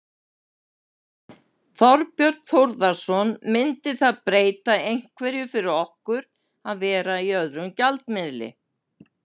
Þorbjörn Þórðarson: Myndi það breyta einhverju fyrir okkur að vera í öðrum gjaldmiðli?